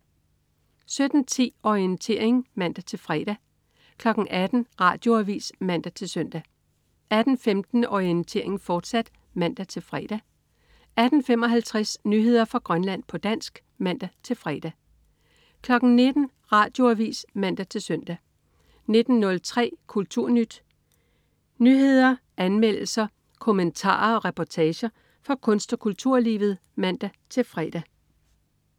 17.10 Orientering (man-fre) 18.00 Radioavis (man-søn) 18.15 Orientering, fortsat (man-fre) 18.55 Nyheder fra Grønland, på dansk (man-fre) 19.00 Radioavis (man-søn) 19.03 KulturNyt. Nyheder, anmeldelser, kommentarer og reportager fra kunst- og kulturlivet (man-fre)